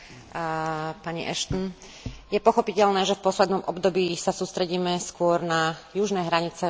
Je pochopiteľné, že v poslednom období sa sústredíme skôr na južné hranice Únie ako na východné.